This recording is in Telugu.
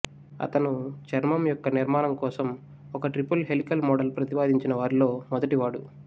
అతను చర్మము యొక్క నిర్మాణం కోసం ఒక ట్రిపుల్ హెలికల్ మోడల్ ప్రత్తిపాదించిన వారిలో మొదటివాడు